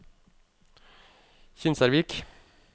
Kinsarvik